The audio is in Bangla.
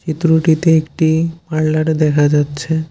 চিত্রটিতে একটি পার্লার দেখা যাচ্ছে।